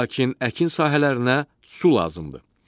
Lakin əkin sahələrinə su lazımdır.